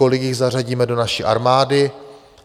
Kolik jich zařadíme do naší armády?